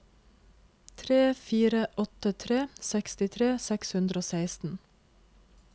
tre fire åtte tre sekstitre seks hundre og seksten